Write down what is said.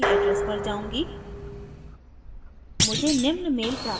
पहले मैं अपने email address पर जाउंगी